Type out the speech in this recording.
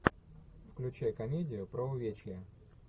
включай комедию про увечья